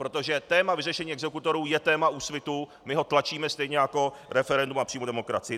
Protože téma vyřešení exekutorů je téma Úsvitu, my ho tlačíme stejně jako referendum a přímou demokracii.